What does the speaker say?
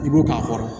I b'o k'a kɔrɔ